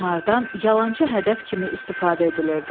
Onlardan yalançı hədəf kimi istifadə edilirdi.